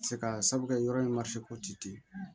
Se ka sabu kɛ yɔrɔ in ten